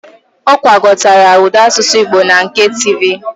Ọ gwakọtara ụda asụsụ Igbo na nke tivi